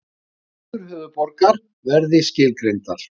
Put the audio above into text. Skyldur höfuðborgar verði skilgreindar